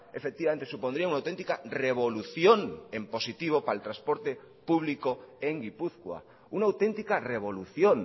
efectivamente supondría una auténtica revolución en positivo para el transporte público en gipuzkoa una auténtica revolución